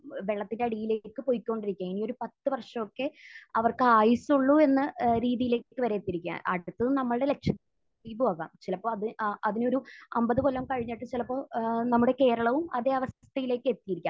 വെള്ളത്തിന്റെ അടിയിലേക്ക് പൊയ്ക്കോണ്ടിരിക്കുകയാണ്. ഇനി ഒരു പത്ത് വർഷമൊക്കെ അവർക്ക് ആയുസൊള്ളൂ എന്ന് ഏഹ് രീതിയിലേക്ക് വരെ എത്തിയിരിക്കുകയാണ്. അടുത്തത് നമ്മുടെ ലക്ഷദ്വീപുമാകാം. ചിലപ്പോൾ അത് അഹ് അതിനൊരു അൻപത് കൊല്ലം കഴിഞ്ഞിട്ട് ചിലപ്പോൾ ഏഹ് നമ്മുടെ കേരളവും അതേ അവസ്ഥയിലേക്ക് എത്തിയിരിക്കാം.